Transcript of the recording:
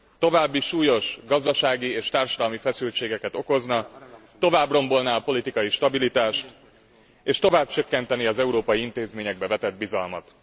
További súlyos gazdasági és társadalmi feszültségeket okozna, tovább rombolná a politikai stabilitást és tovább csökkentené az európai intézményekbe vetett bizalmat.